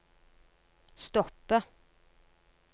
stoppe